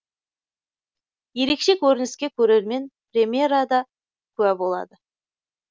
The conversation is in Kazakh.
ерекше көрініске көрермен премьерада куә болады